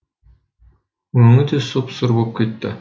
өңі де сұп сұр боп кетті